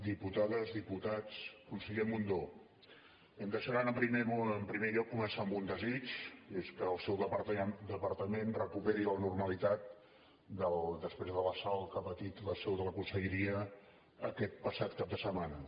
diputades diputats conseller mundó em deixaran en primer lloc començar amb un desig i és que el seu departament recuperi la normalitat després de l’assalt que ha patit la seu de la conselleria aquest passat cap de setmana